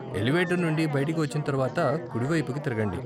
Elevator నుండి బయటికి వచ్చిన తర్వాత కుడివైపుకి తిరగండి.